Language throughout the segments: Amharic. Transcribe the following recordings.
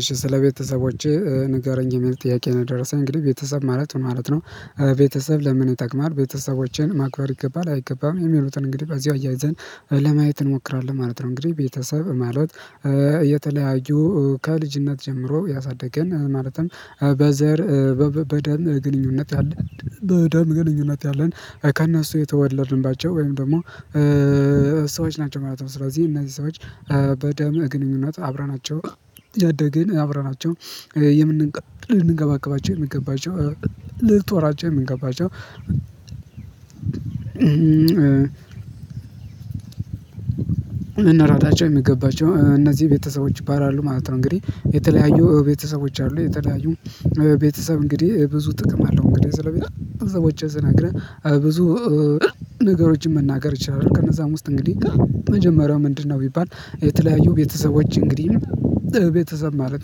እሺ ስለ ቤተሰቦችህ ንገረኝ የሚል ጥያቄ ነው የደረሰኝ። እንግዲህ ቤተሰብ ማለት ምን ማለት ነው ቤተሰብ ለምን ይጠቅማል? ቤተሰቦቼን ማክበር ይገባል አይገባም? የሚሉትን እንግዲህ በዚሁ አያይዘን ለማየት እንሞክራለን ማለት ነው። እንግዲህ ቤተሰብ ማለት የተለያዩ ከልጅነት ጀምሮ ያሳደገን፤ ማለትም በዘር በደም ግንኙነት ያለን በደም ግንኙነት ያለን፤ ወይ ከነሱ የተወለድንባቸው ወይም ደግሞ ሰዎች ናቸው ማለት ነው። ስለዚህ እነዚህ ሰዎች በደም ግንኙነት አብረናቸው ያደግን አብረናቸው ልንንከባከባቸው የሚገባቸው፤ ልንጦራቸው የሚገባቸው እናራታቸው የሚገባቸው እነዚህ ቤተሰቦች ይባላሉ ማለት ነው። እንግዲህ የተለያዩ ቤተሰቦች አሉ የተለያዩ ቤተሰብ እንግዲህ ብዙ ጥቅም አለው። እንግዲህ ስለሚል እዛ ውጪ ስነግርህ ብዙ ነገሮችን መናገር ይችላል ከነዛም ውስጥ እንግዲህ መጀመሪያው ምንድነው ቢባል የተለያዩ ቤተሰቦች እንግዲህ ቤተሰብ ማለት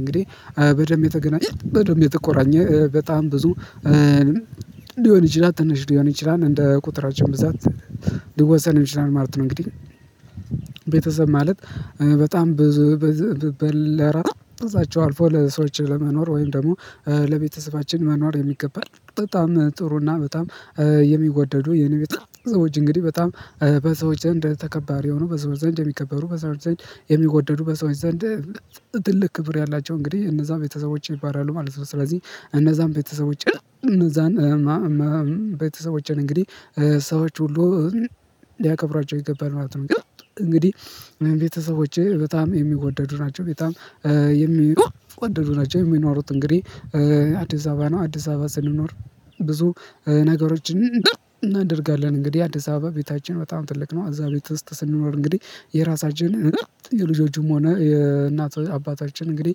እንግዲህ በደንብ የተገናኘ በደንብ የተቆራኘ በጣም ብዙ ሊሆን ይችላል ትንሽ ሊሆን ይችላል እንደ ቁጥራቸው ብዛት ሊወሰን ይችላል ማለት ነው እንግዲህ ቤተሰብ ማለት በጣም ብዙ በለራ እዛቸው አልፎ ለሰዎች ለመኖር ወይም ደግሞ ለቤተሰባችን መኖር የሚገባል በጣም ጥሩና በጣም የሚጎደዱ የነቢት ሰዎች እንግዲህ በጣም በሰዎች ደንደ ተከባሪ ሆኖ በሰዎች ዘንድ የሚከበሩ በሰዎች ዘንድ የሚጎደዱ በሰዎች ዘንድ ትልቅ ክብር ያላቸው እንግዲህ እነዛም ቤተሰቦቼ ይባራሉ ማለት ነው ስለዚህ እነዛም ቤተሰቦቼ እነዛን ቤተሰቦቼን እንግዲህ ሰዎች ሁሉ ሊያከብሯቸው ይገባል ማለት ነው እንግዲህ ቤተሰቦቼ በጣም የሚወደዱ ናቸው በጣም የሚወደዱ ናቸው የሚኖሩት እንግዲህ አዲስ አበባ ነው አዲስ አበባ ስንኖር ብዙ ነገሮችን እናደርጋለን እንግዲህ አዲስ አበባ ቤታችን በጣም ትልቅ ነው አዛ ቤት ውስጥ ስንኖር እንግዲህ የራሳችን እርግጥ የልጆቹም ሆነ የእናቶች አባታችን እንግዲህ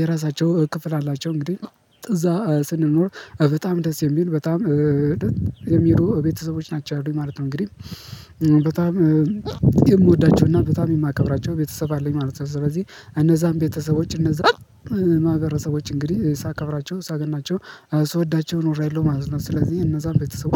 የራሳቸው ክፍል አላቸው እንግዲህ እዛ ስንኖር በጣም ደስ የሚል በጣም የሚሉ ቤተሰቦች ናቸው አሉኝ ማለት ነው እንግዲህ በጣም የምወዳቸው እና በጣም የማከብራቸው ቤተሰብ አለኝ ማለት ነው ስለዚህ እነዛን ቤተሰቦች እነዛን ማህበረሰቦች እንግዲህ ሳከብራቸው ሳገናቸው ስወዳቸው ኖሬለሁ ማለት ነው ስለዚህ እነዛን ቤተሰብ